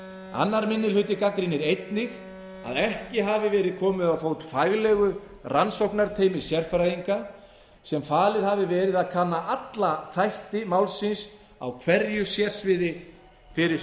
annar minni hluti gagnrýnir einnig að ekki hafi verið komið á fót faglegu rannsóknarteymi sérfræðinga sem falið hafi verið að kanna alla þætti málsins á hverju sérsviði fyrir